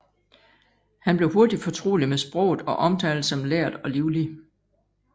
Han blev hurtig fortrolig med sproget og omtales som lærd og livlig